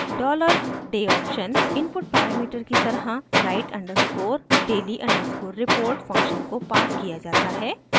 $dayoption input parameter की तरह write underscore daily underscore report function को पास किया जाता है